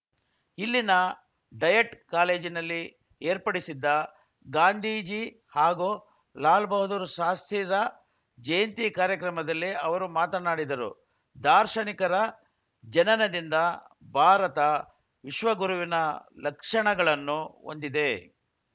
ಇಲ್ಲಿನ ಡಯಟ್‌ ಕಾಲೇಜಿನಲ್ಲಿ ಏರ್ಪಡಿಸಿದ್ದ ಗಾಂಧೀಜಿ ಹಾಗೂ ಲಾಲ್‌ ಬಹದ್ದೂರ್‌ ಶಾಸ್ತ್ರಿರ ಜಯಂತಿ ಕಾರ್ಯಕ್ರಮದಲ್ಲಿ ಅವರು ಮಾತನಾಡಿದರು ದಾರ್ಶನಿಕರ ಜನನದಿಂದ ಭಾರತ ವಿಶ್ವಗುರುವಿನ ಲಕ್ಷಣಗಳನ್ನು ಹೊಂದಿದೆ